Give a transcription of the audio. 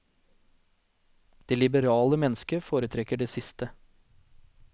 Det liberale mennesket foretrekker det siste.